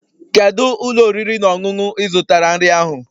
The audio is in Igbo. Kedu ụlọ oriri na ọṅụṅụ ị zụtara nri ahụ?